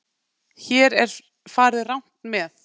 Hér er farið rangt með.